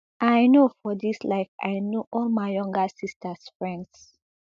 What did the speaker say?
i know for dis life i know all my younger sisters friends